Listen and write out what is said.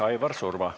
Aivar Surva.